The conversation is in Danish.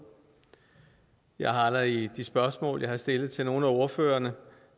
jeg har i de spørgsmål jeg har stillet til nogle af ordførerne